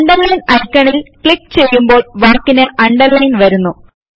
underline ഐക്കണിൽ click ചെയ്യുമ്പോൾ വാക്കിന് അണ്ടർലയിൻ വരുന്നു